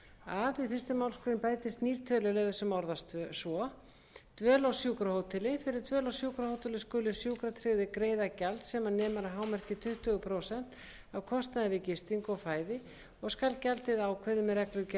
a við fyrstu málsgrein bætist nýr töluliður sem orðast svo dvöl á sjúkrahóteli fyrir dvöl á sjúkrahóteli skulu sjúkratryggðir greiða gjald sem nemur að hámarki tuttugu prósent af kostnaði við gistingu og fæði og skal gjaldið ákveðið með reglugerð